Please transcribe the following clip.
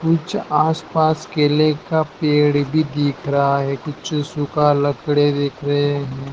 कुछ आस पास केले का पेड़ भी दिख रहा है कुछ सुखा लकड़ी देख रहे हैं।